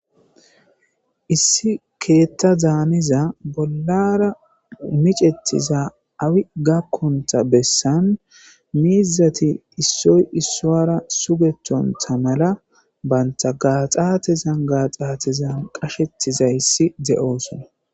Issi keththa daniza bollara miccetiza awi gaakontta bessan miizati issoy issowara suggettonta maalla bantta gaxxatezan gaxxatezan qachchettidaysi de'ossona.